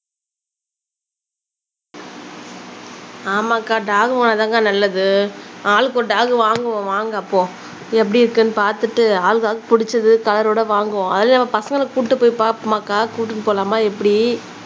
ஆமாக்கா டாக் வாங்குனாத்தாங்கா நல்லது ஆளுக்கொரு டாக் வாங்குவோம் வாங்க அப்போ எப்படி இருக்குன்னு பாத்துட்டு ஆளுக்காளுக்கு பிடிச்சது கலரோட வாங்குவோம் அதுலயும் நம்ம பசங்களை கூட்டிட்டு போய் பாப்போமாக்கா கூட்டிட்டு போலாமா எப்படி